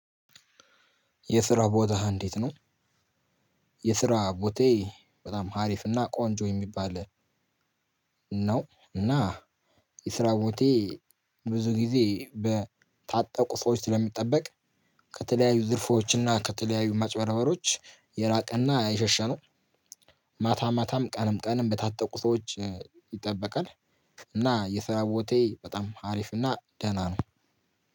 የስራ ቦታህ እንዴት ነው? የስራ ቦታዬ በጣም ሀሪፍና ቆንጆ የሚባል ነው። እና የስራ ቦታዬ ብዙ ጊዜ በታጠቁ ሰዎች ስለሚጠበቅ። ከተለያዩ ዝርፎች እና ከተለያዩ ማጭበርበሮች የራቀና የሸሸ ነው። ማታ ማታም ቀንም ቀንም በታጠቁ ሰዎች ይጠበቃል። እና የሰራ ቦታዬ በጣም አሪፍ እና ደህና ነው።